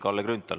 Palun!